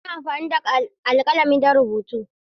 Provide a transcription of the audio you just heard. Ana amfani da alƙalami don rubutu.